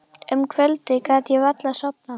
Um kvöldið gat ég varla sofnað.